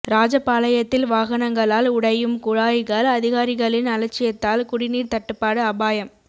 ராஜபாளையத்தில் வாகனங்களால் உடையும் குழாய்கள் அதிகாரிகளின் அலட்சியத்தால் குடிநீர் தட்டுப்பாடு அபாயம்